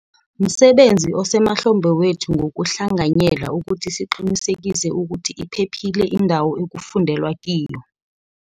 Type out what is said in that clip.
Msebenzi osemahlombe wethu ngokuhlanganyela ukuthi siqinisekise ukuthi iphephile indawo ekufundelwa kiyo.